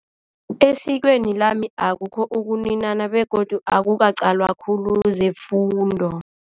Esikweni lami akukho ukuninana begodu akukaqalwa khulu zefundo.